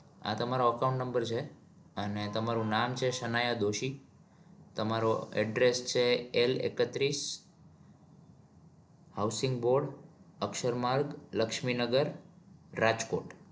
આ તમારો account number છે અને તમારુ નામ છે સનાયા દોશી. તમારો address છે l એકત્રીસ housing road અક્ષરમાર્ગ લક્ષ્મીનગર રાજકોટ